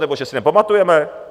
Nebo že si nepamatujeme?